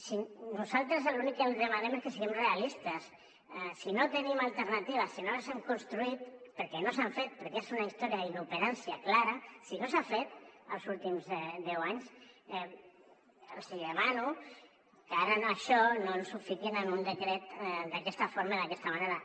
si nosaltres l’únic que demanem és que siguem realistes si no tenim alternatives si no les hem construït perquè no s’han fet perquè és una història d’inoperància clara si no s’ha fet els últims deu anys els hi demano que ara això no ens ho fiquin en un decret d’aquesta forma i d’aquesta manera